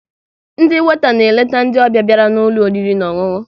Ndị weta na-eleta ndị ọbịa bịara n'ụlọ oriri na ọṅụṅụ